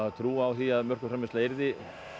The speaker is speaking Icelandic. trú á því að mjólkurframleiðsla yrði